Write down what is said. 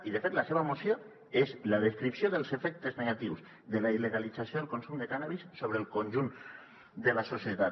i de fet la seva moció és la descripció dels efectes negatius de la il·legalització del consum de cànnabis sobre el conjunt de la societat